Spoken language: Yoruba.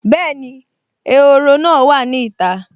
Bẹ́ẹ̀ni, ehoro náà wà ní ìta